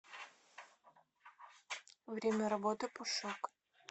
время работы пушок